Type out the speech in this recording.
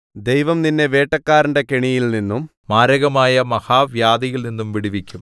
ദൈവം നിന്നെ വേട്ടക്കാരന്റെ കെണിയിൽ നിന്നും മാരകമായ മഹാവ്യാധിയിൽനിന്നും വിടുവിക്കും